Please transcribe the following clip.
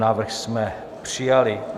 Návrh jsme přijali.